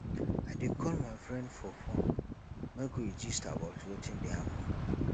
i dey call my friend for fone make we gist about wetin dey happen